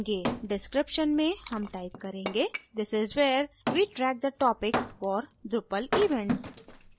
description में हम type करेंगेthis is where we track the topics for drupal events